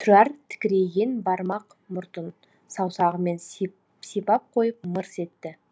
тұрар тікірейген бармақ мұртын саусағымен сипап қойып мырс етті